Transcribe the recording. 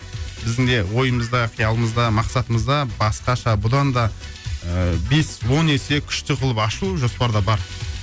біздің де ойымызда қиялымыз да мақсатымызда басқаша бұдан да ыыы бес он есе күшті қылып ашу жоспарда бар